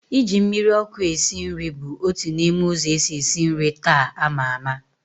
Ị ji mmiri ọkụ esi nri bụ otu n'ime ụzọ esi esi nri taa a maa ama